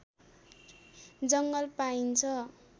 जङ्गल पाइन्छ